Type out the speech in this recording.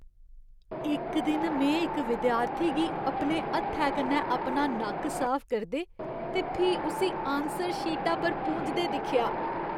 इक दिन में इक विद्यार्थी गी अपने हत्थै कन्नै अपन नक्क साफ करदे ते फ्ही उस्सी आनसर शीटा पर पूंझदे दिक्खेआ।